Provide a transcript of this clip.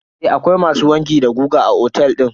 Eh akwai masu wanki da goga a otel din.